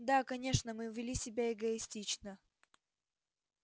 да конечно мы вели себя эгоистично